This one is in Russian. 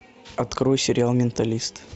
открой сериал менталист